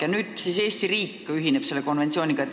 ja nüüd siis Eesti riik ühineb selle konventsiooniga.